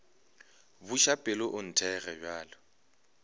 buša pelo o nthekge bjalo